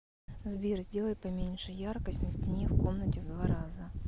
сбер сделай поменьше яркость на стене в комнате в два раза